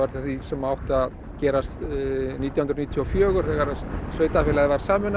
af því sem átti að gerast nítján hundruð níutíu og fjögur þegar sveitarfélagið var sameinað